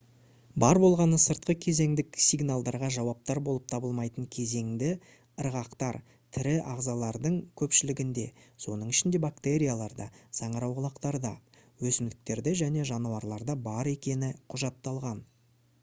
бар болғаны сыртқы кезеңдік сигналдарға жауаптар болып табылмайтын кезеңді ырғақтар тірі ағзалардың көпшілігінде соның ішінде бактерияларда саңырауқұлақтарда өсімдіктерде және жануарларда бар екені құжатталған